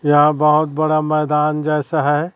यहाँ बहोत बड़ा मैदान जैसा है।